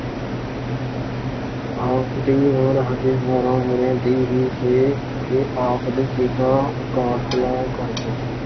ਆਪ ਦੀ ਉਮਰ ਹਜੇ ਬਾਰਾਂ ਵਰ੍ਹਿਆਂ ਦੀ ਹੀ ਸੀ ਕਿ ਆਪ ਦੇ ਪਿਤਾ ਅਕਾਲ ਚਲਾਣਾ ਕਰ ਗਏ।